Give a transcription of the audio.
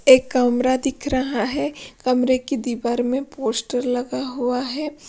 एक कमरा दिख रहा है कमरे की दीवार में पोस्टर लगा हुआ है।